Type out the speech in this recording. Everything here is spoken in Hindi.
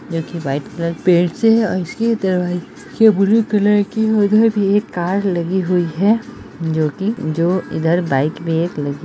जो की वाइट कलर पेंट से है और इसके दरवाजे ब्लू कलर की उधर भी एक कार लगी हुई है जो की जो इधर बाइक पे एक लगी --